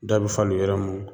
Da bɛ falen yɔrɔ mun na.